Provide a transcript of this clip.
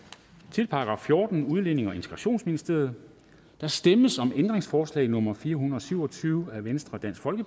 til § fjortende udlændinge og integrationsministeriet der stemmes om ændringsforslag nummer fire hundrede og syv og tyve af v